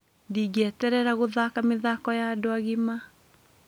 Ndingeeterera gũthaka mĩthako ya andũ agima.